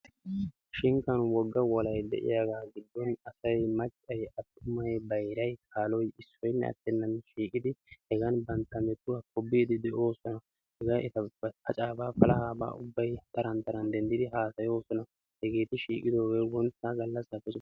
Shinkkan wogga wolay de'iyaaga giddon asay maccay attumay bayray kaaloy issoynne attenan shiiqidi hegan banttaa metuwa tobbide de'oosona. hega eta paccaba, palahaba ubbay taran taran denddida haasayoosona. hegeti shiiqidooge wontta gallassappe ussuppun...